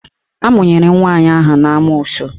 Amụnyere nwaanyị ahụ n'amoosu.